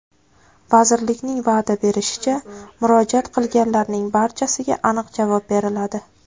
Vazirlikning va’da berishicha, murojaat qilganlarning barchasiga aniq javob beriladi.